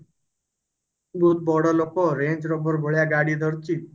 ବହୁତ ବଡ ଲୋକ range rover ଭଳିଆ ଗାଡି ଧରିଛି